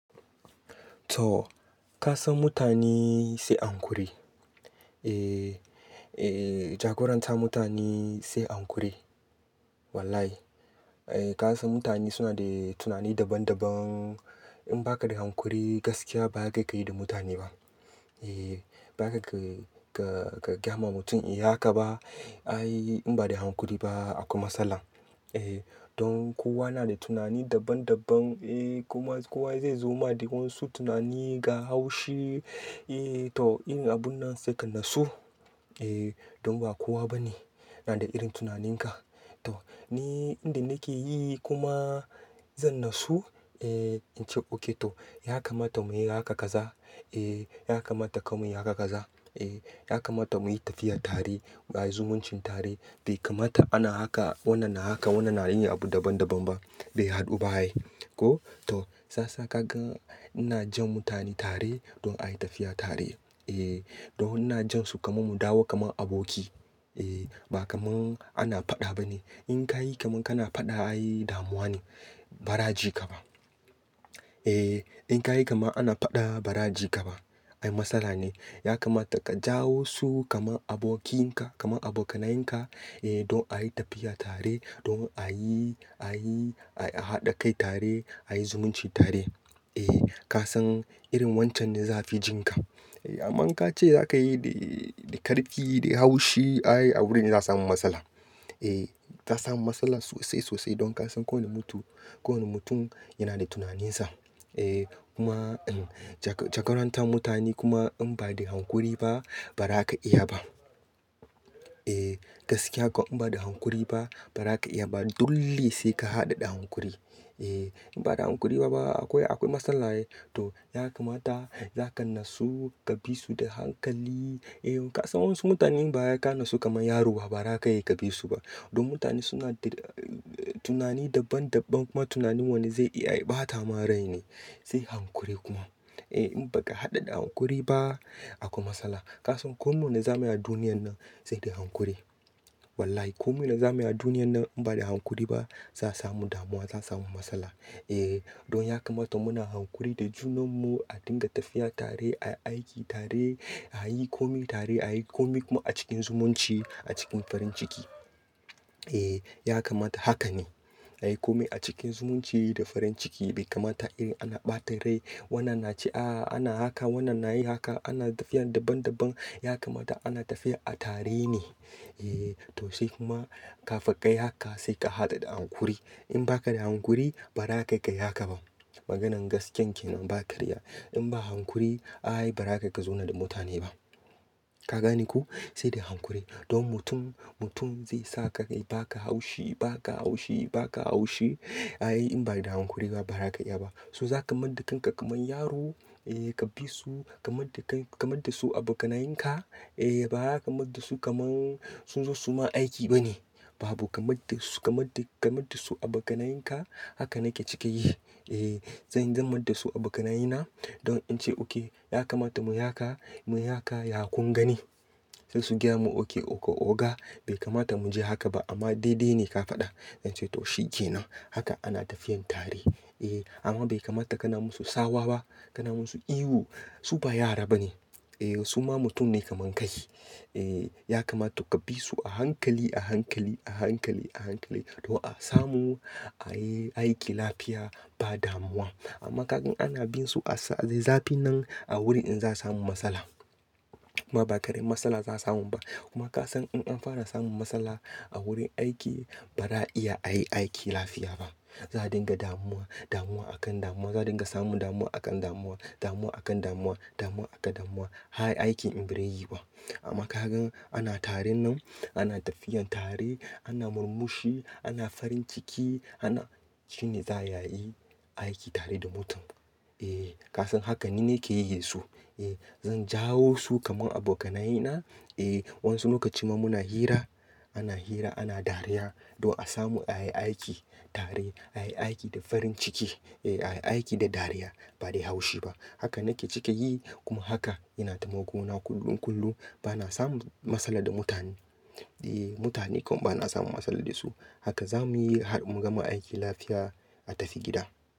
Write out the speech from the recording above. To ka san mutane sai an kuri. Eh jagorantar mutane sai hakuri. Wallahi. Ka san mutane suna da tunani daban daban. In ba ka da hankuri gaskiya ba zaka kai da mutane ba. Eh ba ka ga, ga, ga, gayama mutum inyi haka ba. Ai in ba da hakuri ba akwai matsala. Eh don kowa na da tunani daban daban. Eh kuma kowa zai zo ma da wa'yansu tunani ga haushi. Eh to in abun nan sai ka natsu. Eh don ba kowa bane na da irin tunaninka. To ni inda nake yi kuma zan nasu. Eh in ce ok to ya kamata mu yi haka kaza. Eh ya kamata kam muyi haka kaza. Eh ya kamata mu yi tafiya tare, a yi zumuncin tare. Bai kamata ana haka, wannan na haka, wannan na yin abu daban daban ba. Bai haɗu ba ai. Ko? To saiyasa ka gan ina jan mutane tare don a yi tafiya tare. Eh don ina jan su kaman mu dawo kaman aboki. Eh ba kaman ana faɗa bane. In ka yi kaman kana faɗa ai damuwa ne. Ba za'a ji ka ba. Eh in ka yi kaman ana faɗa ba za'a ji ka ba. Ai matsala ne. Ya kamata ka jawo su kaman abokinka, kaman abokanayenka. Eh don a yi tafiya tare. Don a yi, a yi, a haɗa kai tare, a yi zumunci tare. Eh ka san irin wancan ne za'afi jin ka. Eh amman in ka ce za ka yi da, da karfi, da haushi ai a wurin ne za'a samu matsala. Eh za a samu matsala sosai sosai. Don ka san kowane mutum, kowane mutum yana da tunaninsa. Eh kuma jagorantar mutane kuma in ba da hakuri ba ba zaka iya ba. Eh gaskiya ko in ba da hankuri ba ba za ka iya ba. Dole sai ka haɗa da hankuri. Eh in ba da hakuri ba akwai, akwai matsala ai. To ya kamata za ka nasu, ka bi su da hankali. Eh ka san wa'yansu mutane in ba wai ka nasu kaman yaro ba. Ba zaka iya ka bisu ba. Don mutane suna da tunani daban daban. Kuma tunanin wani zai iya ya ɓata ma rai ne. Sai hankuri kuma. Eh in ba ka haɗa da hankuri ba akwai matsala. Ka san ko mene zamuyi a duniyan nan sai da haƙuri. Wallahi ko mene zamuyi a duniyan nan in ba da haƙuri ba za a samu damuwa, za a samu matsala. Eh don ya kamata muna haƙuri da junan mu. A dinga tafiya tare, a yi aiki tare, a yi komi tare, a yi komi kuma a cikin zumunci, a cikin farin ciki. Eh ya kamata haka ne. A yi komi a cikin zumunci da farin ciki. Bai kamata irin ana ɓata rai. Wannan na ce, ah ana haka, wannan na yi haka. Ana tafiya daban daban. Ya kamata ana tafiya a tare ne. Eh to sai kuma kafin kayi haka sai ka haɗa da haƙuri In ba ka da haƙuri ba ra kai kai haka ba. Maganan gaskiya ke nan ba karya. In ba haƙuri ai ba za kai ka zauna da mutane ba. Ka gane ko? Sai da hankuri. Don mutum, mutum zai sa ka kai. Ba ka haushi, ba ka haushi, ba ka haushi. Ai in ba da hankuri ba ba za ka iya ba. So zaka mayenda kan ka kaman yaro. Eh ka bi su, ka mayan da kai, ka mayan da su abokanayenka. Eh ba za ka mayen da su kaman sun zo su ma aiki bane. Babu ka mayen da su, ka mayen da, ka mayen da su abokanayenka Haka nake cika yi. Eh zan mayen da su abokanayena. Don in ce ok ya kamata mu yi haka, mu yi haka. Ya kun gani? Sai su gaya mun ok, oga. Bai kamata mu je haka ba amma daidai ne ka faɗa. In ce to shi ke nan. Haka ana tafiyan tare. Eh amma bai kamata ka na musu tsawa ba. Ka na musu ihu. Su ba yara bane. Eh su ma mutum ne kaman kai. Eh ya kamata ka bi su a hankali, a hankali, a hankali, a hankali. Don a samu, a yi aiki lafiya ba damuwa. Amma ka gan ana bin su a zafi nan a wurin in za a samu matsala. Kuma ba ƙaramin matsala za a samu ba. Kuma ka san in an fara samun matsala a wurin aiki ba za a iya a yi aiki lafiya ba. Za a dinga damuwa, damuwa a kan damuwa. Za a dinga samun damuwa a kan damuwa, damuwa a kan damuwa, damuwa a kan damuwa. Har aikin in ba rai yiyu ba. Amma ka gan ana taren nan, ana tafiyan tare, ana murmushi, ana farin ciki. Ana shine za a ayi aiki tare da mutum. Eh ka san hakan ni nakeyi yanzu. Eh zan jawo su kaman abokanayena. Eh wasu lokaci ma muna hira. Ana hira, ana dariya. Don a samu a yi aiki tare, a yi aiki da farin ciki. Eh a yi aiki da dariya. Ba dai haushi ba. Haka nake cike yi. Kuma haka yana taimako na kullum kullum. Ba na samun matsala da mutane. Eh mutane kuma ba na samu matsala da su. Haka za muyi har mu gama aiki lafiya a tafi gida.